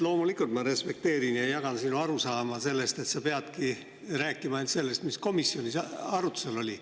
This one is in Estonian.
Loomulikult ma respekteerin ja jagan sinu arusaama, et sa peadki rääkima ainult sellest, mis komisjonis arutusel oli.